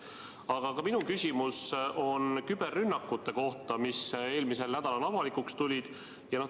Aga ka minu küsimus on küberrünnakute kohta, mis eelmisel nädalal avalikuks tulid.